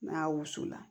N'a wusu la